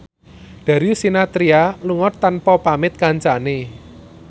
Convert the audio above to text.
Darius Sinathrya lunga tanpa pamit kancane